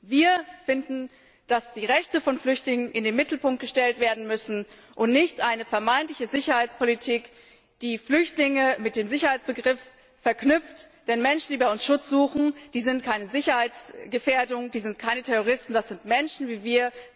Wir finden, dass die Rechte von Flüchtlingen in den Mittelpunkt gestellt werden müssen und nicht eine vermeintliche Sicherheitspolitik, die Flüchtlinge mit dem Sicherheitsbegriff verknüpft, denn Menschen, die bei uns Schutz suchen, sind keine Sicherheitsgefährdung, das sind keine Terroristen, das sind Menschen wie wir.